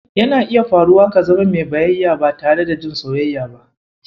Yana iya faruwa ka zama mai bayayya ba tare da jin soyayya ba.